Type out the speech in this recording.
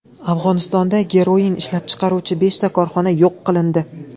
Afg‘onistonda geroin ishlab chiqaruvchi beshta korxona yo‘q qilindi.